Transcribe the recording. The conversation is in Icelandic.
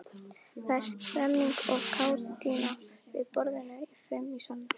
Það er stemmning og kátína við borðin fimm í salnum.